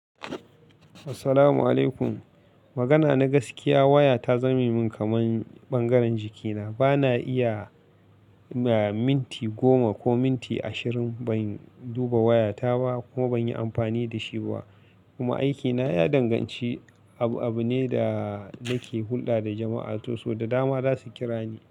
Assalamu alaikum. Magana na gaskiya waya ta zame min kaman ɓangaren jikina. Bana iya, ya minti goma ko minti ashirin ban duba waya ta ba kuma ban yi amfani da shi ba. Kuma aikina ya danganci abu-abu ne da nake hulɗa da jama'a sosai da dama za su kira ni.